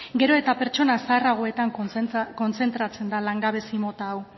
gero eta pertsona zaharragoetan kontzentratzen da langabezi mota hau